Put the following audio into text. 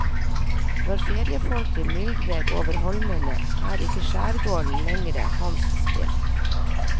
Når feriefolket myldrer over holmene, er ikke skjærgården lenger hans sted.